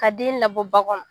Ka den labɔ ba kɔnɔ